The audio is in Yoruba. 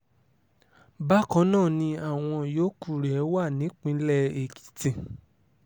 bákan náà ni àwọn yòókù rẹ̀ wà nípìnlẹ̀ èkìtì